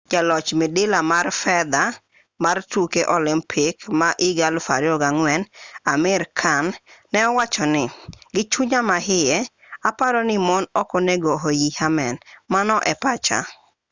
jaloch midila mar fedha mar tuke olimpik ma 2004 amir khan ne owacho ni gi chunya ma iye aparo ni mon ok onego oii amen mano e pacha